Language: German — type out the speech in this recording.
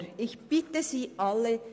Aber ich bitte Sie alle: